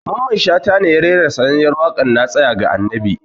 Mamman Shata ne ya rera sananniyar waƙar "na tsaya ga annabi"